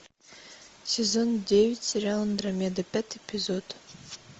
сезон девять сериал андромеда пятый эпизод